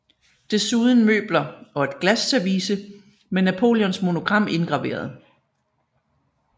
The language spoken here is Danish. Desuden møbler og et glasservice med Napoleons monogram indgraveret